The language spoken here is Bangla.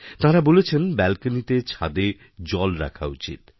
তাঁরা বলেছেন ব্যালকনিতে ছাদে জল রাখা উচিত